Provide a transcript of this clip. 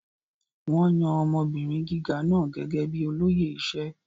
Wón yan ọmọbìnrin gíga náà gẹ́gẹ́ bíi olóyè iṣẹ́.